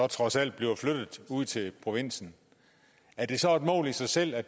trods alt bliver flyttet ud til provinsen er det så et mål i sig selv at